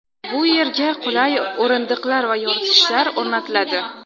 Bu yerga qulay o‘rindiqlar va yoritgichlar o‘rnatiladi.